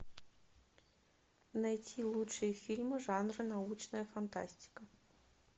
найти лучшие фильмы жанра научная фантастика